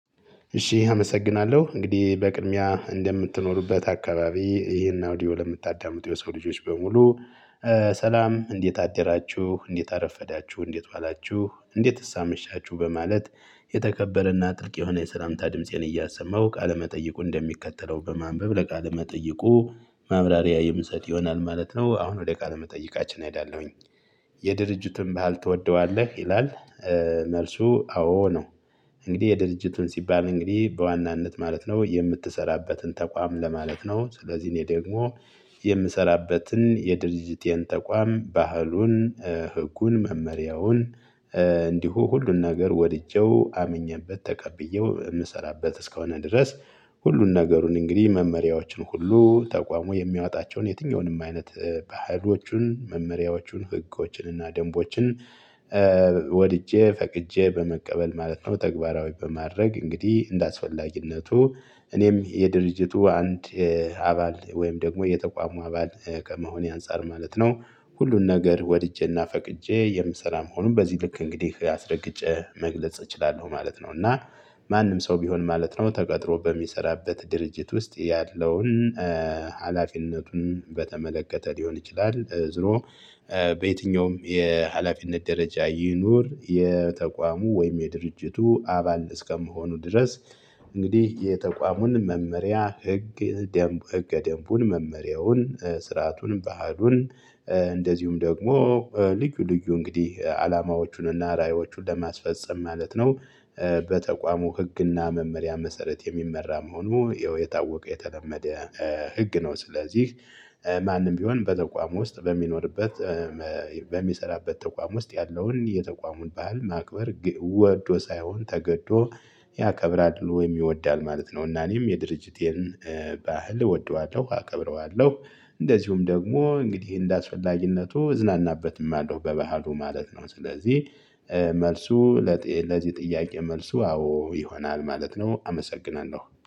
እሺ አመሰግናለሁ እንግዲህ በቅድሚያ እንደምትኖሩበት አካባቢ ይሄን አውዲዮ ለምታዳምጡ የሰው ልጆች በሙሉ። ሰላም እንዴት አደራችሁ እንዴት አረፈዳችሁ እንዴት ዋላችሁ እንዴትስ አመሻችሁ በማለት። የተከበረና ጥልቅ የሆነ የሰላምታ ድምፄን እያሰማሁ ቃለመጠይቁ እንደሚከተለው በማንበብ ለቃለ መጠይቁ ማብራሪያ የምሰጥ ይሆናል ማለት ነው። አሁን ወደ ቃል መጠይቃችን እሄዳለሁኝ። የድርጅቱን ባህል ትወደዋለህ ይላል? መልሱ አዎ ነው። እንግዲህ የድርጅቱን ሲባል እንግዲህ በዋናነት ማለት ነው የምትሰራበትን ተቋም ለማለት ነው። ስለዚህ እኔ ደግሞ የምሰራበትን የድርጅቴን ተቋም ባህሉን ህጉን መመሪያውን እንዲሁ ሁሉን ነገር ወድጄው አምኜበት ተቀብዬው የምሰራበት እስከሆነ ድረስ። ሁሉን ነገሩን እንግዲህ መመሪያዎችን ሁሉ ተቋሙ የሚያወጣቸውን የትኛውንም አይነት ባህሎቹን መመሪያዎቹን ህጎችን እና ደንቦችን ወድጄ ፈቅጄ በመቀበል ማለት ነው። ተግባራዊ በማድረግ እንግዲህ እንደአስፈላጊነቱ እኔም የድርጅቱ አንድ አባል ወይም ደግሞ የተቋሙ አባል ከመሆኔ አንፃር ማለት ነው። ሁሉን ነገር ወድጄና ፈቅጄ የምሰራ መሆኑን በዚህ ልክ እንግዲህ አስረግጬ መግለጽ እችላለሁ ማለት ነው። እና ማንም ሰው ቢሆን ማለት ነው ተቀጥሮ በሚሰራበት ድርጅት ውስጥ ያለውን ሀላፊነቱን በተመለከተ ሊሆን ይችላል ዝሮ። በየትኛውም የሀላፊነት ደረጃ ይኑር የተቋሙ ወይም የድርጅቱ አባል እስከመሆኑ ድረስ። እንግዲህ የተቋሙን መመሪያ ህግ ደምብ ህገ ደንቡን መመሪያውን ስርዓቱን ባህሉን እንደዚሁም ደግሞ ልዩ ልዩ እንግዲህ አላማዎቹንና ራእዮቹን ለማስፈፀም ማለት ነው። በተቋሙ ህግና መመሪያ መሰረት የሚመራ መሆኑ ይኸው የታወቀ የተለመደ ህግ ነው። ስለዚህ ማንም ቢሆን በተቋም ውስጥ በሚኖርበት በሚሰራበት ተቋም ውስጥ ያለውን የተቋሙን ባህል ማክበር ወዶ ሳይሆን ተገዶ ያከብራል ወይም ይወዳል ማለት ነው። እና እኔም የድርጅቴን ባህል እወደዋለሁ አከብረዋለሁ እንደዚሁም ደግሞ እንግዲህ እንደአስፈላጊነቱ እዝናናበትም አለው በባህሉ ማለት ነው። ስለዚህ መልሱ ለዚህ ጥያቄ መልሱ አዎ ይሆናል ማለት ነው። አመሰግናለሁ